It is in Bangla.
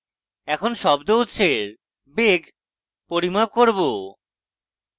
এখন শব্দ উৎসের বেগ পরিমাপ করব